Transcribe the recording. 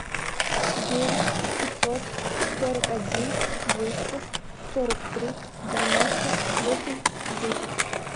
девять пятьсот сорок один двести сорок три девяносто восемь десять